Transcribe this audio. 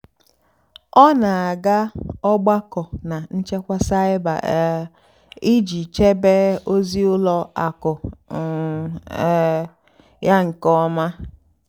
ọ́ nà-àgá ógbákó nà nchèkwà cybér um ìjì chèbé ózì ùlọ àkụ́ um um yá nkè ọ́mà.